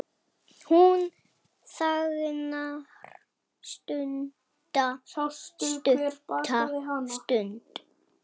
Hún þagnar stutta stund.